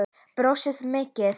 Brosti mikið.